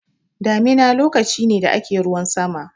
Damina lokaci ne da ake ruwan sama.